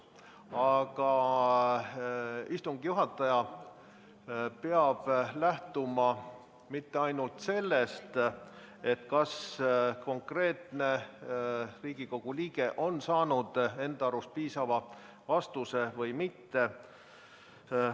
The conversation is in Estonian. Aga istungi juhataja ei pea lähtuma mitte ainult sellest, kas konkreetne Riigikogu liige on saanud enda arvates piisava vastuse või mitte.